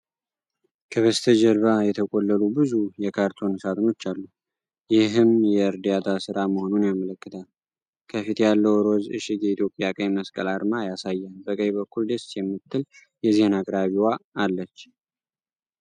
ከበስተጀርባ የተቆለሉ ብዙ የካርቶን ሳጥኖች አሉ፤ ይህም የእርዳታ ሥራ መሆኑን ያመለክታል። ከፊት ያለው ሮዝ እሽግ የኢትዮጵያ ቀይ መስቀልን አርማ ያሳያል። በቀኝ በኩል ደስ የምትል የዜና አቅራቢዋ አለች፡፡